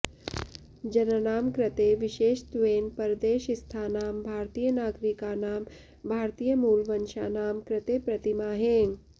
जनानाम् कृते विशेषत्वेन परदेशस्थानाम् भारतीय नागरीकानाम् भारतीयमूलवंशानाम् कृते प्रतिमाहे